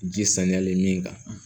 Ji saniyalen min kan